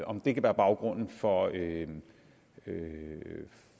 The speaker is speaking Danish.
om det kan være baggrunden for at